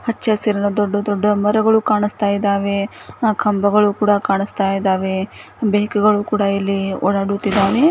ಹಚ್ಚ ಹಸಿರಿನ ದೊಡ್ಡ ದೊಡ್ಡ ಮರಗಳು ಕಾಣಿಸ್ತಾ ಇದ್ದಾವೆ ಕಂಬಗಳು ಕೂಡ ಕಾಣಿಸ್ತಾ ಇದ್ದಾವೆ ಬೈಕ್ ಗಳು ಕೂಡ--